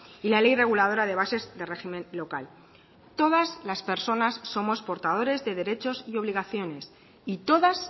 y la ley reguladora de bases de régimen local todas las personas somos portadores de derechos y obligaciones y todas